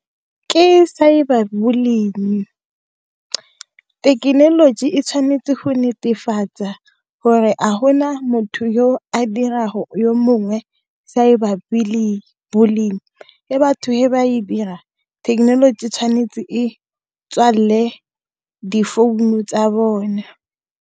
Ke cyber bullying-e. Thekenoloji e tshwanetse go netefatsa gore a gona motho yo a dirago yo mongwe cyber bullying-e, e batho he batho ba e dira, thekenoloji tshwanetse e tswalele difounu tsa bone.